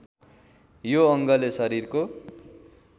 यो अङ्गले शरीरको